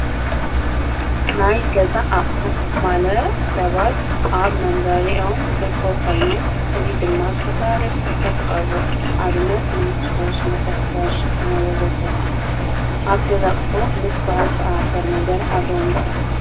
ናይ ገዛ ኣቑሑት ማለት ሰባት ኣብ መንበሪኦም ዝርከቡ ኮይኖም እዚ ድማ ዝተፈላለየ መሳርሕታት ይቐርቡ፡፡ ኣብነት መንከሽከሽ፣ መኾስተር፣ ሸሓነ ወዘተ ኣብ ገዛ ኣቑሑ ምስ ባህልታት ዝተኣሳሰረ ነገር ኣለዎም ዶ?